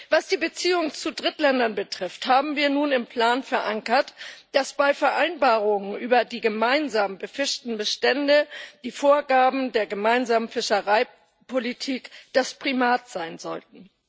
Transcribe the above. Was die Beziehungen zu Drittländern betrifft, haben wir nun im Plan verankert, dass bei Vereinbarungen über die gemeinsam befischten Bestände die Vorgaben der gemeinsamen Fischereipolitik das Primat sein sollten.